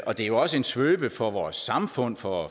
og det er også en svøbe for vores samfund for